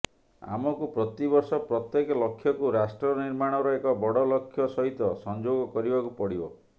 ଆମକୁ ପ୍ରତିବର୍ଷ ପ୍ରତ୍ୟେକ ଲକ୍ଷ୍ୟକୁ ରାଷ୍ଟ୍ର ନିର୍ମାଣର ଏକ ବଡ଼ ଲକ୍ଷ୍ୟ ସହିତ ସଂଯୋଗ କରିବାକୁ ପଡିବ